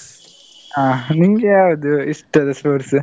ಹಾ ನಿಮ್ಗೆ ಯಾವ್ದು ಇಷ್ಟದ sports ?